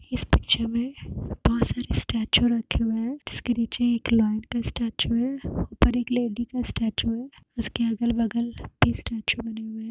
इस पिक्चर में बहोत सारे स्टेचू रखे हुएँ हैं। जिसके नीचे एक लायन का स्टेचू है। ऊपर एक लेडी का स्टेचू हैं। उसके अगल - बगल भी स्टेचू बने हुए हैं।